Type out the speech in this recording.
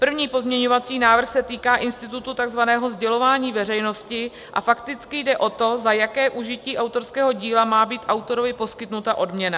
První pozměňovací návrh se týká institutu tzv. sdělování veřejnosti a fakticky jde o to, za jaké užití autorského díla má být autorovi poskytnuta odměna.